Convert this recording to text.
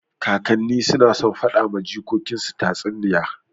Kakanni suna son faɗa wa jikokin su tatsuniyoyi.